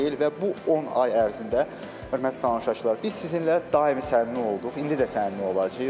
Və bu 10 ay ərzində, hörmətli tamaşaçılar, biz sizinlə daim səmimi olduq, indi də səmimi olacağıq.